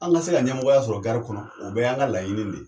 An ga se ka ɲɛmɔgɔya sɔrɔ kɔnɔ o bɛ y'an ka laɲini ne ye.